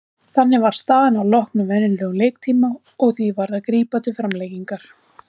Þannig var staðan að loknum venjulegum leiktíma og því varð að grípa til framlengingar.